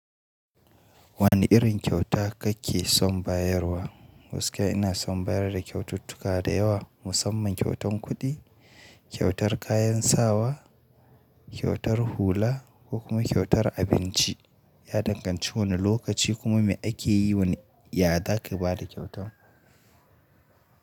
Wane irin kyauta kake son bayarwa? Gaskiya ina son bayar da kyaututtuka da yawa, musamman kyautan kuɗi, kyautar kayan sawa, kyautar hula ko kuma kyautar abinci. Ya danganci wane lokaci kuma me ake yi, wane yazaka bada kyautar.